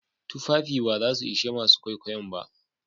Tufafin ba za su ishe masu kwaikwayon ba.